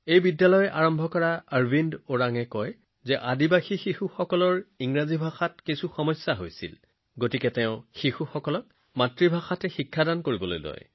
এই বিদ্যালয়ৰ প্ৰতিষ্ঠাপক অৰবিন্দ ওৰানে কয় যে আদিবাসী লৰাছোৱালীৰ ইংৰাজী ভাষাৰ সমস্যা আছিল সেয়েহে তেওঁ গাঁৱৰ লৰাছোৱালীক তেওঁলোকৰ মাতৃভাষাত পঢ়ুৱাবলৈ আৰম্ভ কৰিছিল